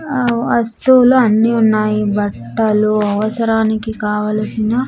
ఆ వస్తువులు అన్నీ ఉన్నాయి బట్టలు అవసరానికి కావలసిన.